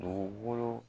Dugukolo